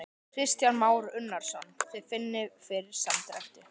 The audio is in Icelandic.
Kristján Már Unnarsson: Þið finnið fyrir samdrætti?